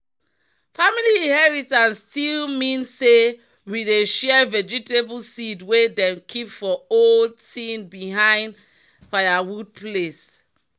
"family inheritance still mean say we dey share vegetable seed wey dem keep for old tin behind firewood place."